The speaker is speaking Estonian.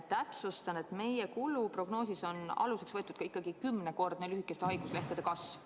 Täpsustan, et meie kuluprognoosis on aluseks võetud ikkagi kümnekordne lühikeste haiguslehtede arvu kasv.